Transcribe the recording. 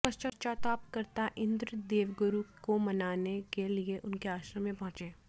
पश्चाताप करता इंद्र देवगुरु को मनाने के लिए उनके आश्रम में पहुंचा